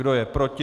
Kdo je proti?